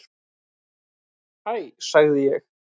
Hæ sagði ég.